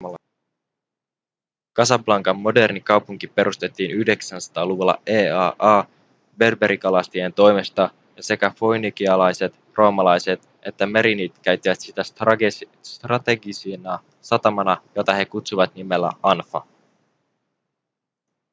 casablancan moderni kaupunki perustettiin 900-luvulla eaa berberikalastajien toimesta ja sekä foinikialaiset roomalaiset että merinidit käyttivät sitä strategisena satamana jota he kutsuivat nimellä anfa